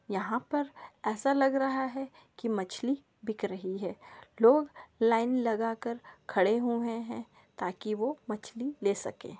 यहाँ पर ऐसा लग रहा है कि मछली बिक रही है लोग लाइन लगा कर खड़े हु हे हैं ताकि वो मछली ले सके।